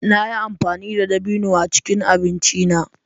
Na yi amfani da dabino a cikin abinci na.